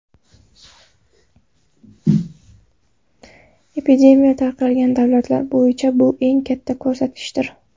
Epidemiya tarqalgan davlatlar bo‘yicha bu eng katta ko‘rsatkichdir.